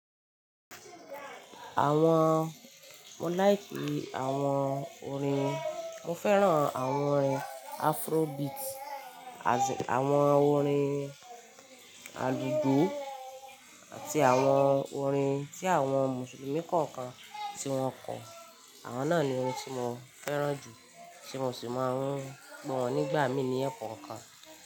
Àwon, mo like àwon orin, mo féràn àwon orin Afrobeat àti àwon orin àlùjo àti àwon orin tí àwon mùsùlùmí kọọkan tí wón kọ. Àwon náà ni orin tí mo féràn jù tí mo sì máa ń gbó wọn nígbà mí ní ẹkọọkan.